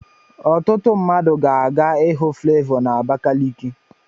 Ọtụtụ mmadụ ga-aga ịhụ Flevọ na Abakaliki.